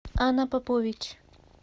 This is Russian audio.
ана попович